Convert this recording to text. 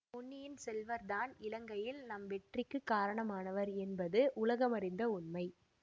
பொன்னியின் செல்வர்தான் இலங்கையில் நம் வெற்றிக்குக் காரணமானவர் என்பது உலகமறிந்த உண்மை